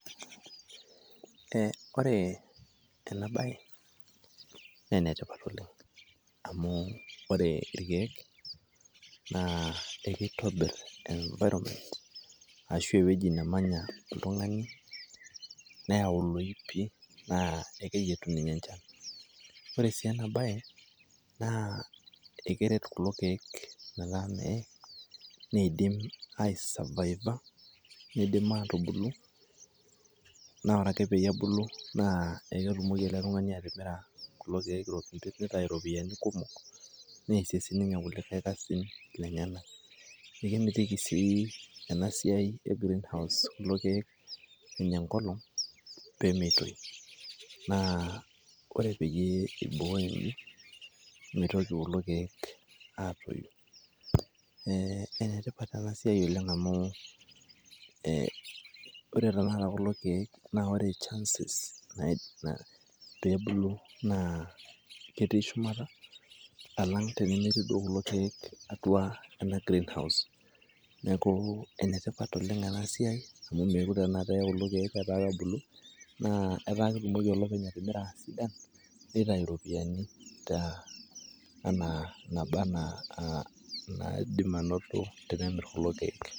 Eh ore ena bae, na enetipat oleng'. Amu ore irkeek, naa ekitobir environment ashu ewueji nemanya oltung'ani, neyau loipi na ekeyietu ninye enchan. Ore si ena bae, na ekeret kulo keek metaa meidim aisavaiva, niidim atubulu. Na ore ake peyie ebulu, na ketumoki ele tung'ani atimira kulo keek pitau iropiyiani kumok neesie sininye kulikae kasin lenyanak. Ekemitiki sii enasiai e greenhouse kulo keek enya enkolong pemeitoi. Naa ore peyie iboi mitoki kulo keek atoyu. Eh enetipat enasiai oleng' amu eh ore taata kulo keek na ore chances na pebulu, na ketii shumata alang' tenemetii duo kulo keek atua ena greenhouse. Neeku enetipat oleng' enasiai amu mekure tanakata eye kulo keek etaa kebulu, na etaa ketumoki olopeny atimira pe itayu iropiyiani ena naaba enaa naidim anoto tenemir kulo keek.